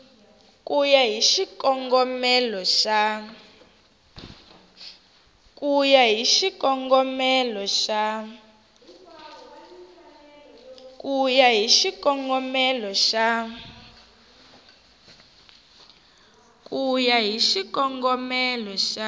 ku ya hi xikongomelo xa